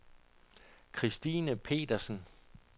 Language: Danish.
Christine Petersen